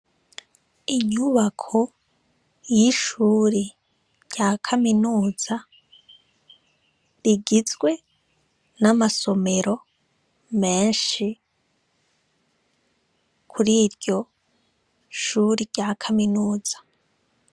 Inyubako y'ishuri rya Kaminuza rigizwe n'amasomero menshi. Kuriryo Shure rya Kaminuza.